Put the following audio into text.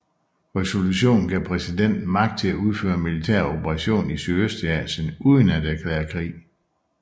Resolutionen gav præsidenten magt til at udføre militære operationer i Sydøstasien uden at erklære krig